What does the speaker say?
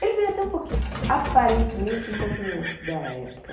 Ele veio até um pouqui, aparentemente, um pouquinho antes da época.